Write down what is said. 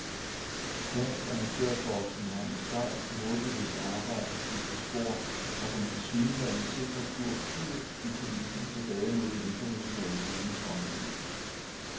Dansk amatørboksning har med sejt, målbevidst arbejde skiftet spor fra den tilsyneladende sikre kurs ud i kulissen tilbage mod den internationale scenes rampelys.